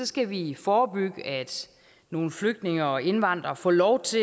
skal vi forebygge at nogle flygtninge og indvandrere får lov